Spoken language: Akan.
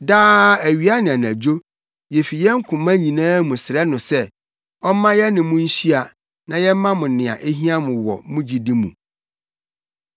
Daa awia ne anadwo, yefi yɛn koma nyinaa mu srɛ no sɛ, ɔmma yɛne mo nhyia na yɛmma mo nea ehia mo wɔ mo gyidi mu.